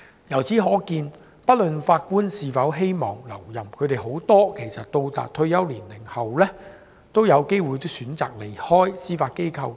由此可見，不論法官是否希望留任，他們很多到達退休年齡後，都有機會選擇離開司法機構。